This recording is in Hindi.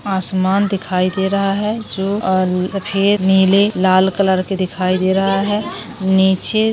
आसमान दिखाये दे रहा है जो सफेद निले लाल कलर के दिखाइ दे रहा है नीचे --